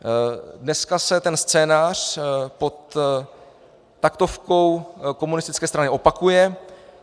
Dneska se ten scénář pod taktovkou komunistické strany opakuje.